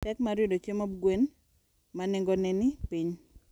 Pek mar yudo chiemob gwen ma nengone ni piny.